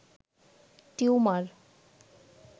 tumour